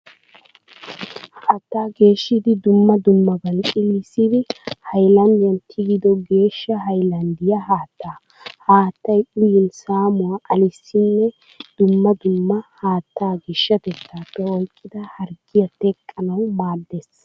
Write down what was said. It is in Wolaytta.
Haattaa geeshshidi dumma dummaban xillissidi hayilanddiyan tigido geeshsha hayilanddiya haattaa. Ha haattay uyin saamuwa aleesinne dumma dumma haattaa geeshatettaappe oyikkida harggiya teqqanawu maaddes.